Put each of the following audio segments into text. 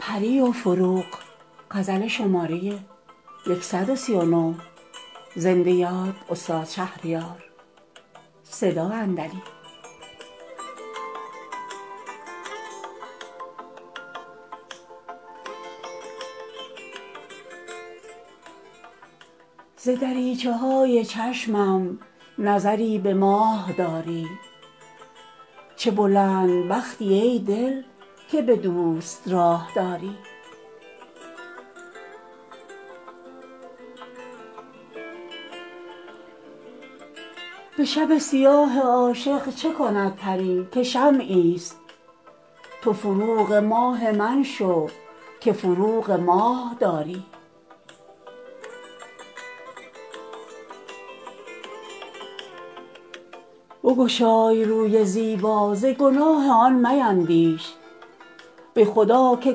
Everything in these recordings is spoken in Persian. ز دریچه های چشمم نظری به ماه داری چه بلند بختی ای دل که به دوست راه داری به شب سیاه عاشق چه کند پری که شمعی است تو فروغ ماه من شو که فروغ ماه داری بگشای روی زیبا ز گناه آن میندیش به خدا که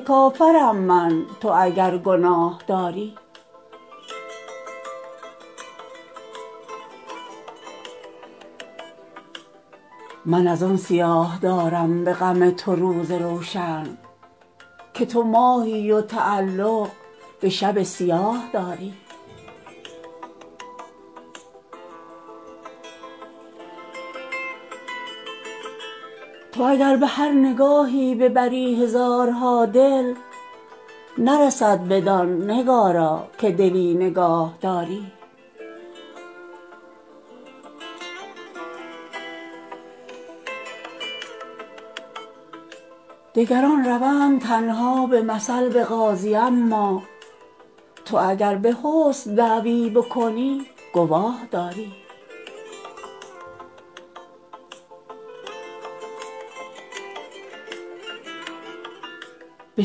کافرم من تو اگر گناه داری من از آن سیاه دارم به غم تو روز روشن که تو ماهی و تعلق به شب سیاه داری تو اگر به هر نگاهی ببری هزارها دل نرسد بدان نگارا که دلی نگاهداری نفس علیل پیران تب لازم آورد هان تو چه لازم این جوانی به تبی تباه داری تو که چون منیژه گیسو بودت کمند رستم ز چه ماه من چو بیژن خود اسیر چاه داری تو به هر گدا میامیز و شکوه حسن مشکن که لیاقت تشرف به حضور شاه داری برو و به دلبری کو ملکه است در وجاهت بگذر که ماه رویش به محاق آه داری دگران روند تنها به مثل به قاضی اما تو اگر به حسن دعوی بکنی گواه داری به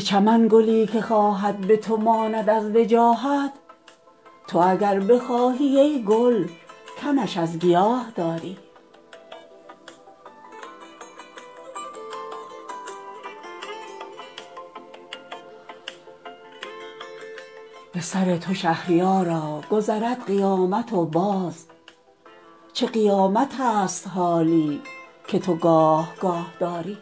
چمن گلی که خواهد به تو ماند از وجاهت تو اگر بخواهی ای گل کمش از گیاه داری دگران به نرد عشقت به هوای بوسه تازند تو چرا هوای بازی سر دل بخواه داری به سر تو شهریارا گذرد قیامت و باز چه قیامتست حالی که تو گاه گاه داری